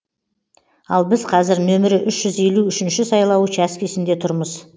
ал біз қазір нөмірі үш жүз елу үшінші сайлау учаскесінде тұрмыз